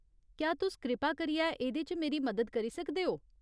क्या तुस कृपा करियै एह्दे च मेरी मदद करी सकदे ओ ?